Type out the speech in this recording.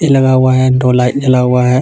लगा हुआ है दो लाइट जला हुआ हैं.